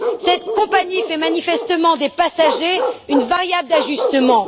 Cette compagnie fait manifestement des passagers une variable d'ajustement.